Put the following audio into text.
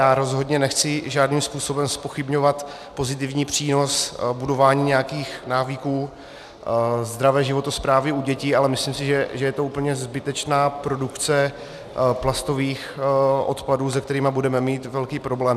Já rozhodně nechci žádným způsobem zpochybňovat pozitivní přínos budování nějakých návyků zdravé životosprávy u dětí, ale myslím si, že je to úplně zbytečná produkce plastových odpadů, se kterými budeme mít velký problém.